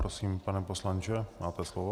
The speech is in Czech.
Prosím, pane poslanče, máte slovo.